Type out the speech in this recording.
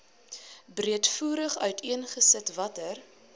breedvoerig uiteengesit watter